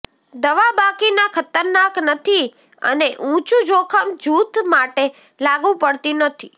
દવા બાકીના ખતરનાક નથી અને ઊંચું જોખમ જૂથ માટે લાગુ પડતી નથી